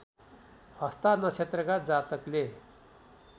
हस्ता नक्षत्रका जातकले